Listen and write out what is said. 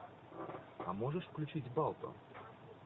а можешь включить балто